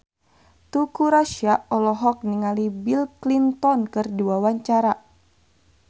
Teuku Rassya olohok ningali Bill Clinton keur diwawancara